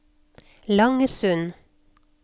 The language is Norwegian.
Langesund